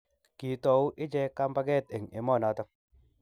kiitou ichek kambaket eng' emenoto